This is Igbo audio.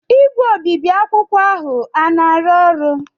igwe obibi akwụkwọ ahụ a na-arụ ọrụ?